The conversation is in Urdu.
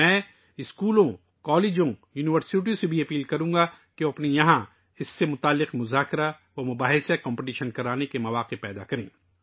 میں اسکولوں، کالجوں اور یونیورسٹیوں پر بھی زور دوں گا کہ وہ اپنے اپنے مقامات پر جی 20 سے متعلق مباحثوں اور مقابلوں وغیرہ کا انعقاد کریں